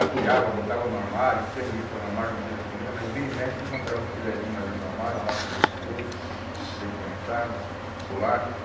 Acolhava, botava no armário, tinha revista no armário, não podia ter comida, mas vira e mexe encontrava um filezinho lá dentro do armário, uma lata de doce de leite, leite condensado, bolachas.